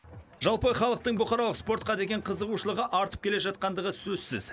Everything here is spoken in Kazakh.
жалпы халықтың бұқаралық спортқа деген қызығушылығы артып келе жатқандығы сөзсіз